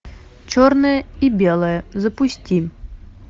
черное и белое запусти